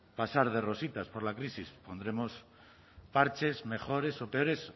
pasar de rositas por la crisis pondremos parches mejores o peores